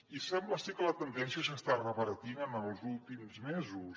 i sembla ser que la tendència s’està revertint en els últims mesos